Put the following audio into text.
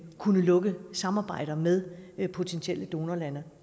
kunne lukke samarbejder med potentielle donorlande